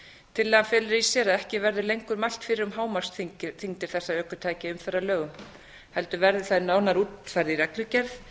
tillagan felur í sér að ekki verður lengur mælt fyrir um hámarksþyngdir þessara ökutækja í umferðarlögum heldur verður það nánar útfært í reglugerð